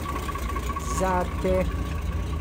Zate.